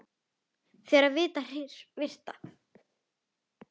Þegar hið virta